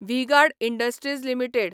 V Guard Industries limited